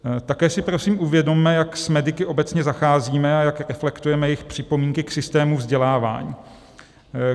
Také si prosím uvědomme, jak s mediky obecně zacházíme a jak reflektujeme jejich připomínky k systému vzdělávání.